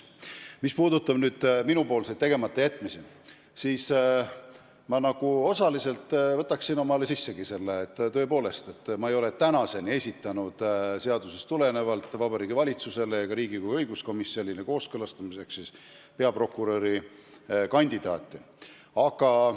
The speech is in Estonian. Mis puudutab minu tegematajätmisi, siis ma võtan omaks, et tõepoolest, ma ei ole tänaseni esitanud Vabariigi Valitsusele ega Riigikogu õiguskomisjonile kooskõlastamiseks peaprokuröri kandidaati, kuigi seadus seda nõuab.